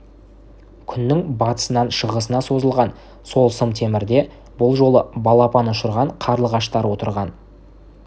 күннің батысынан шығысына созылған сол сым темірде бұл жолы балапан ұшырған қарлығаштар отырған